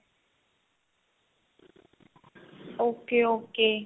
okay okay